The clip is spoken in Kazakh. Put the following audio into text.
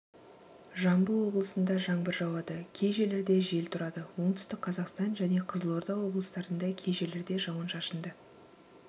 жамбыл облысында жаңбыр жауады кей жерлерде жел тұрады оңтүстік қазақстан және қызылорда облыстарында кей жерлерде жауын-шашынды